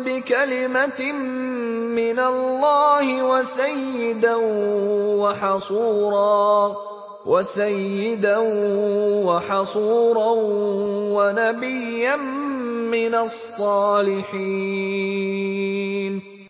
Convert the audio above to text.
بِكَلِمَةٍ مِّنَ اللَّهِ وَسَيِّدًا وَحَصُورًا وَنَبِيًّا مِّنَ الصَّالِحِينَ